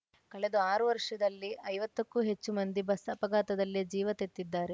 ಕಳೆದ ಆರು ವರ್ಷದಲ್ಲಿ ಐವತ್ತಕ್ಕೂ ಹೆಚ್ಚು ಮಂದಿ ಬಸ್‌ ಅಪಘಾತದಲ್ಲೇ ಜೀವ ತೆತ್ತಿದ್ದಾರೆ